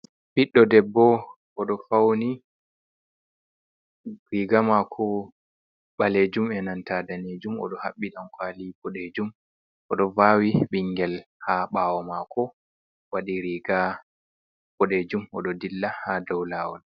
Biddo debbo odo fauni riga mako balejum e nanta danejum odo habbi dankwali bodejum odo vawi bingel ha bawo mako wadi riga bodejum odo dilla ha dou lawol.